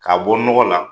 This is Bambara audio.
K'a bɔ nɔgɔ la